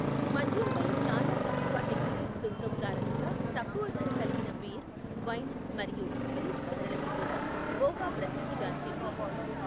మద్యంపై చాలా తక్కువ ఎక్సైజ్ సుంకం కారణంగా తక్కువ ధర కలిగిన బీర్, వైన్ మరియు స్పిరిట్స్ ధరలకు కూడా గోవా ప్రసిద్ది గాంచింది.